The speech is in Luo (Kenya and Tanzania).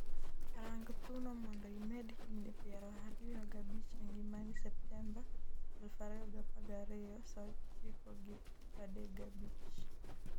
rang thuno mondo imed higni piero ariyo g'abich e ngimani Septemba 2012 3:35